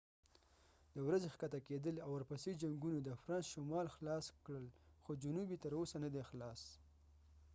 د d ورځې ښکته کیدل او ورپسې جنګونو د فرانس شمال خلاص کړل خو جنوب یې تر اوسه نه دی خلاص